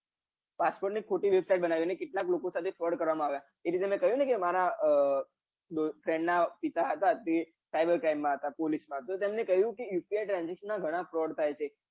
passport ની ખોટી website બનાઇને કેટલા લોકો સાથે froud કરવામાં આવ્યા એ રીતે મેં કહ્યું ને મારા friend ના પાપા હતા આઈ cyber crime માં હતા police માં હતા તો તેમનેકહ્યું કે યુપીઆઈ transection ના ગાન fraud થાય છે